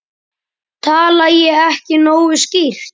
Tala ég ekki nógu skýrt?